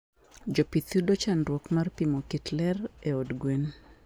Jopith yudo chandruok mar pimo kit lerr e od gwen